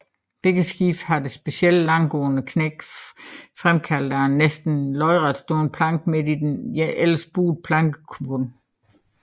Begge skibe har det specielle langsgående knæk fremkaldt af en næsten lodretstående planke midt i den ellers buede plankebund